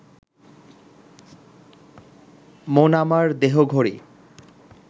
'মন আমার দেহঘড়ি